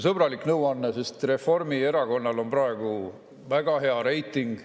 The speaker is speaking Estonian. Sõbralik nõuanne, sest Reformierakonnal on praegu väga hea reiting.